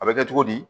A bɛ kɛ cogo di